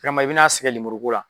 I m'a ye i bɛna sɛgɛn lemuru ko la.